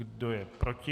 Kdo je proti?